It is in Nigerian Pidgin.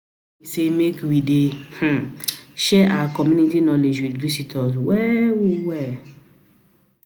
say make we dey um share our community knowledge with visitors well well